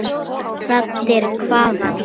Raddir hvaðan?